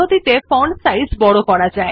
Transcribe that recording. দেখুন লেখাটির ফন্টের সাইজ ছোটো হয়ে গেছে